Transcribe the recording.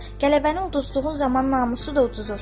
Qələbəni uduzduğun zaman namusu da uduzursan.